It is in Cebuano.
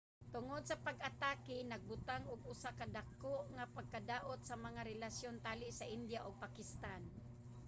tungod sa pag-atake nagbutang og usa ka dako nga pagkadaot sa mga relasyon tali sa india ug pakistan